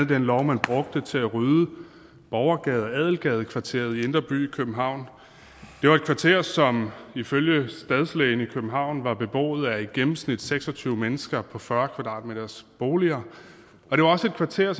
den lov man brugte til at rydde borgergade og adelgadekvarteret i indre by i københavn det var et kvarter som ifølge stadslægen i københavn var beboet af i gennemsnit seks og tyve mennesker på fyrre kvadratmetersboliger og det var også et kvarter